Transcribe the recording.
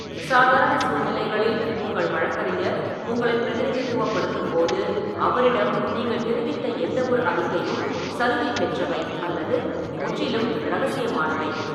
சாதாரண சூழ்நிலைகளில், உங்கள் வழக்கறிஞர் உங்களைப் பிரதிநிதித்துவப்படுத்தும் போது அவரிடம் நீங்கள் தெரிவித்த எந்தவொரு அறிக்கையும் சலுகை பெற்றவை அல்லது முற்றிலும் இரகசியமானவை.